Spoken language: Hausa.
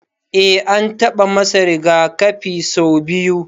Eh an taba masa rigakafi sau biyu.